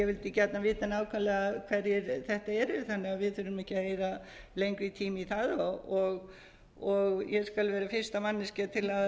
vildi gjarnan vita nákvæmlega hverjir þetta eru þannig að við þurfum ekki að eyða lengri tíma í það og ég skal vera fyrsta manneskja til